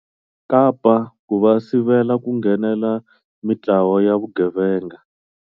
Kapa ku va sivela ku nghenela mitlawa ya vugevenga.